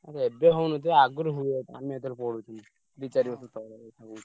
ଏବେ ହଉନଥିବ ଆଗୁରୁ ହୁଏ ଆମେ ଯେତବେଳେ ପଢୁଥିଲୁ। ଦି ଚାରି ବର୍ଷ ତଳର କଥା ମୁଁ କହୁଛି।